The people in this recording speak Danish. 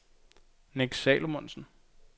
Nick Salomonsen